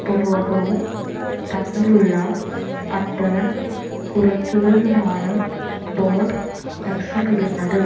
ഉപഭോഗവും തമ്മിലുള്ള അന്തരം കുറയ്ക്കുകയുമാണ് ബോര്ഡ് ലക്ഷ്യമിടുന്നത്